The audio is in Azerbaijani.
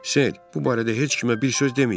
Ser, bu barədə heç kimə bir söz deməyin.